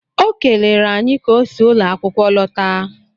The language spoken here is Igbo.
Ọ kelere anyị ka ọ si ụlọ akwụkwọ lọta